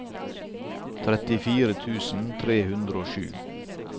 trettifire tusen tre hundre og sju